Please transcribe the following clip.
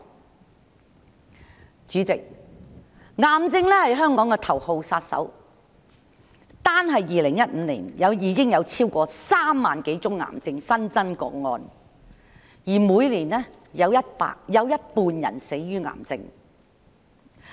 代理主席，癌症是香港頭號殺手，單是2015年已有超過3萬多宗癌症新增個案，而每年的死亡人數有一半是死於癌症。